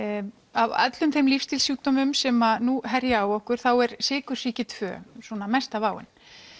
af öllum þeim lífsstílssjúkdómum sem nú herja á okkur þá er sykursýki tvö svona mesta váin